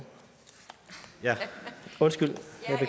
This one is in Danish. undskyld